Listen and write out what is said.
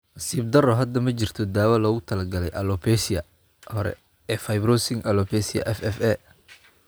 Nasiib darro, hadda ma jirto daawo loogu talagalay alopecia hore ee fibrosing alopecia (FFA).